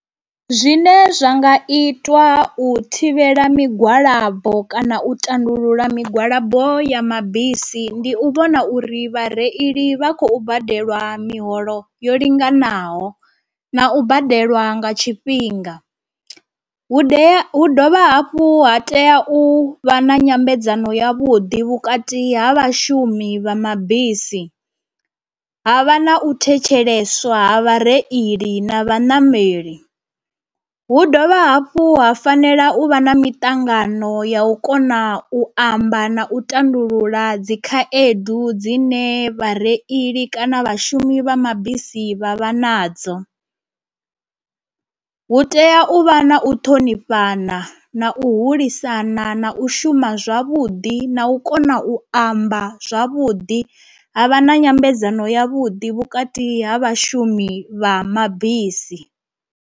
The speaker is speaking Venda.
Zwine zwa nga itwa u thivhela migwalabo kana u tandulula migwalabo ya mabisi ndi u vhona uri vhareili vha khou badelwa miholo yo linganaho na u badelwa nga tshifhinga. Hu dea hu dovha hafhu ha tea u vha na nyambedzano ya vhuḓi vhukati ha vhashumi vha mabisi, ha vha na u thetsheleswa ha vhareili na vhanameli, hu dovha hafhu ha fanela u vha na miṱangano ya u kona u amba na u tandulula dzi khaedu dzine vhareili kana vhashumisi vha mabisi vha vha vha nadzo. Hu tea u vha na u ṱhonifhana na u hulisana na u shuma zwavhuḓi na u kona u amba zwavhuḓi ha vha na nyambedzano ya vhuḓi vhukati ha vhashumi vha mabisi.